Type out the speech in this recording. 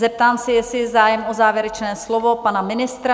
Zeptám se, jestli je zájem o závěrečné slovo pana ministra?